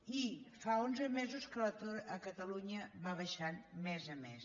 i fa onze mesos que l’atur a catalunya va baixant mes a mes